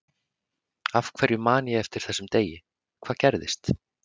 Af hverju man ég eftir þessum degi, hvað gerðist?